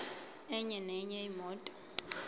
enye nenye imoto